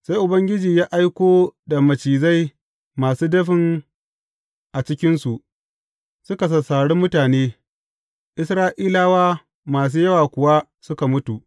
Sai Ubangiji ya aiko da macizai masu dafin a cikinsu, suka sassari mutane, Isra’ilawa masu yawa kuwa suka mutu.